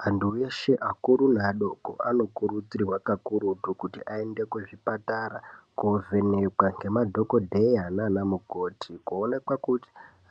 Vantu veshe akuru neadoko anokurudzirwa kakurutu kuti aende kuzvipatara kovhenekwa ngemadhokodheya nana mukoti kuonekwa kuti